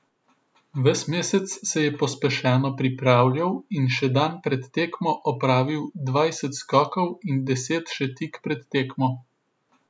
Ves mesec se je pospešeno pripravljal in še dan pred tekmo opravil dvajset skokov in deset še tik pred tekmo.